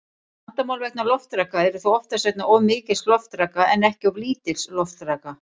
Vandamál vegna loftraka eru þó oftast vegna of mikils loftraka en ekki of lítils loftraka.